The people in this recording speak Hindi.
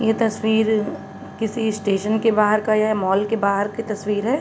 ये तस्वीर किसी स्टेशन के बाहर का य मॉल के बाहर की तस्वीर है।